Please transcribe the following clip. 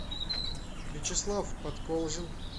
вячеслав подколзин